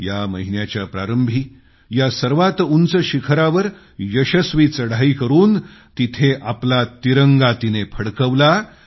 या महिन्याच्या प्रारंभी या सर्वात उंच शिखरावर यशस्वी चढाई करून तिथं आपला तिरंगा तिनं फडकवला